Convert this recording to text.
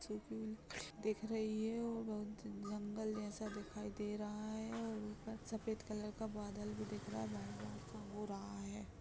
छिपी दिख रही है। और बहुत जंगल जैसा दिखाई दे रहा है। और ऊपर सफेद कलर का बदल भी दिख रहा है लाल लाल सा हो रहा हैं।